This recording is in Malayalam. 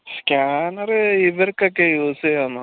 scanner ഇവർക്കൊക്കെ use യ്യാം